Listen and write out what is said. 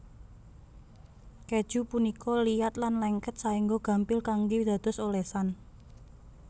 Kèju punika liat lan lengket saéngga gampil kanggé dados olesan